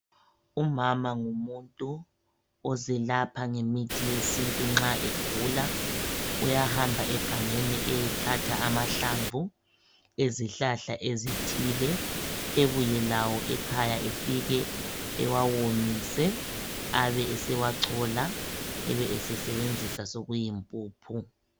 Umama ngumuntu ozelapha ngemithi yesintu nxa egula. Uyahamba egangeni eyethatha amahlamvu ezihlahla ezithile, ebuye lawo ekhaya efike ewawomise abesewachola. Ebesesebenzisa sokuyimpuphu.